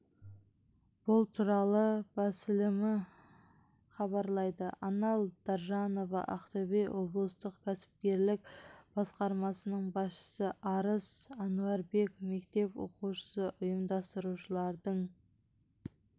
бұл туралы басылымы хабарлайды анар даржанова ақтөбе облыстық кәсіпкерлік басқармасының басшысы арыс әнуарбек мектеп оқушысы ұйымдастырушылардың